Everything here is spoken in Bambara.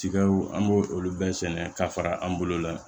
Tigaw an b'o olu bɛɛ sɛnɛ ka fara an bolo la